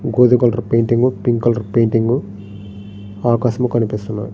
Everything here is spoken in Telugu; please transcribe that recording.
గోధుమ colour painting pink colour painting ఆకాశం కనిపిస్తుంది.